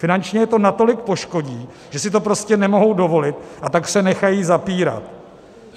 Finančně je to natolik poškodí, že si to prostě nemohou dovolit, a tak se nechají zapírat.